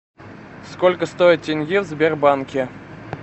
сколько стоит тенге в сбербанке